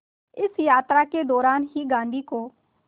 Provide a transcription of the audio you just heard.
इस यात्रा के दौरान ही गांधी को